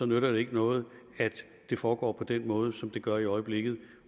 nytter det ikke noget at det foregår på den måde som det gør i øjeblikket